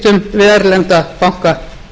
við erlenda banka atvinnulífið er